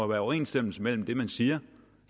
være overensstemmelse mellem det man siger